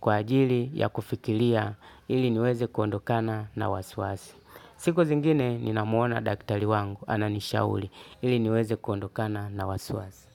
kwa ajili ya kufikiria ili niweze kuondokana na wasiwasi. Siku zingine, ninamuona daktari wangu, ananishauri, ili niweze kuondokana na wasiwasi.